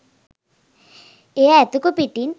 එය ඇතකු පිටින්